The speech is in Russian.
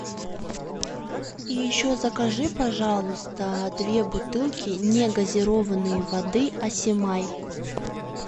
еще закажи пожалуйста две бутылки негазированной воды асем ай